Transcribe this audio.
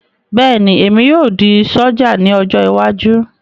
Bẹ́ẹ̀ni, èmi yóò di sójà ní ọjọ́ iwájú